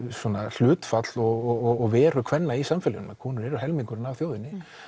hlutfall og veru kvenna í samfélaginu konur eru helmingurinn af þjóðinni